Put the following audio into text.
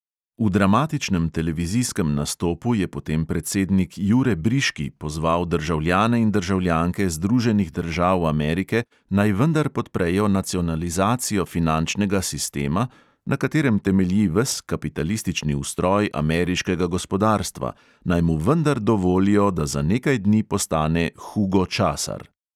V dramatičnem televizijskem nastopu je potem predsednik jure briški pozval državljane in državljanke združenih držav amerike, naj vendar podprejo nacionalizacijo finančnega sistema, na katerem temelji ves kapitalistični ustroj ameriškega gospodarstva, naj mu vendar dovolijo, da za nekaj dni postane hugo časar.